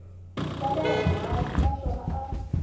xa le hansi naswona a